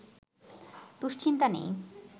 দুশ্চিন্তা নেই